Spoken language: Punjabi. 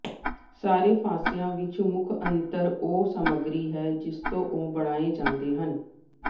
ਸਾਰੇ ਫ਼ਾਸ਼ਿਆਂ ਵਿਚ ਮੁੱਖ ਅੰਤਰ ਉਹ ਸਮੱਗਰੀ ਹੈ ਜਿਸ ਤੋਂ ਉਹ ਬਣਾਏ ਜਾਂਦੇ ਹਨ